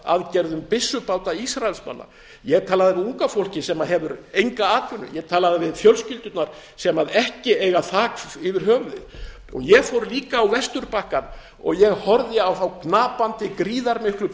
aðgerðum byssubáta ísraelsmanna ég talaði við unga fólkið sem hefur enga atvinnu ég talaði við fjölskyldurnar sem ekki eiga þak yfir höfuðið ég fór líka á vesturbakkann og ég horfði á þá gnapandi gríðarmiklu